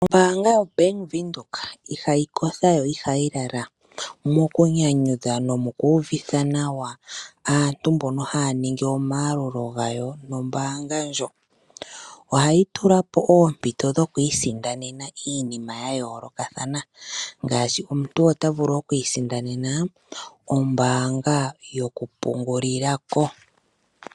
Ombaanga yobank Windhoek ihayi kotha, yo ihayi lala mokunyanyudha nomokuuvitha nawa aantu mbonon haya ningi omayalulo gawo nombaanga ndjo. Ohayi tula po oompito dhokwii sindanena iinima yayoolokathana ngaashi omuntu ota vulu okwiisindanena ombaanga yoku pungulila ko.